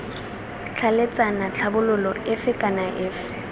tlhaeletsana tlhabololo efe kana efe